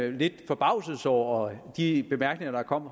en vis forbavselse over de bemærkninger der kom